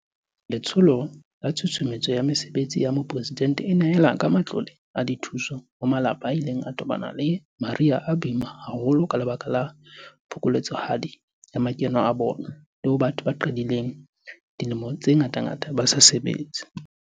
Letsholo la Tshusumetso ya Mesebetsi ya Mopresidente e nehela ka matlole a dithuso ho malapa a ileng a tobana le mariha a boima haholo ka lebaka la phokoletsohadi ya makeno a bona, le ho batho ba qedileng dilemo tse ngatangata ba sa sebetse.